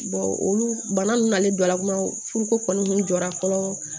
olu bana nunnu na ne jɔla kumaw furu ko kɔni jɔra fɔlɔ